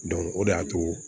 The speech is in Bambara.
o de y'a to